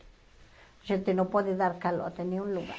A gente não pode dar calote em nenhum lugar.